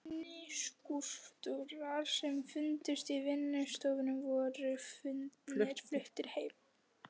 Minni skúlptúrar sem fundust í vinnustofunni voru fluttir heim.